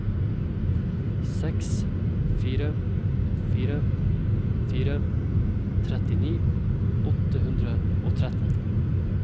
seks fire fire fire trettini åtte hundre og tretten